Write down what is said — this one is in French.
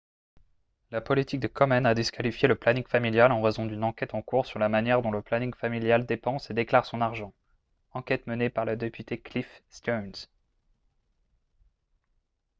la politique de komen a disqualifié le planning familial en raison d'une enquête en cours sur la manière dont le planning familial dépense et déclare son argent enquête menée par le député cliff stearns